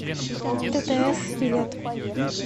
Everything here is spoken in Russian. ттс билет